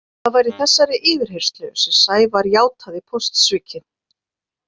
Það var í þessari yfirheyrslu sem Sævar játaði póstsvikin.